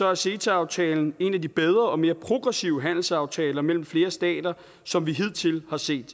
er ceta aftalen en af de bedre og mere progressive handelsaftaler mellem flere stater som vi hidtil har set